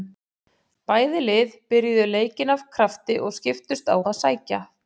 Bæði lið byrjuðu leikinn af krafti og skiptust á að sækja.